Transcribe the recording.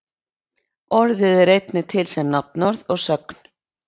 orðið er einnig til sem nafnorð og sögn